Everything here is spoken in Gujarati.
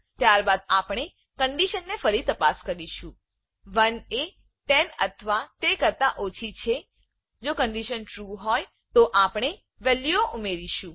ત્યારબાદ આપણે કન્ડીશનને ફરી તપાસ કરીશું 1 એ 10 અથવા તે કરતા ઓછી છેજો કન્ડીશન ટ્રૂ ટ્રૂ તો આપણે વેલ્યુઓ ઉમેરીશું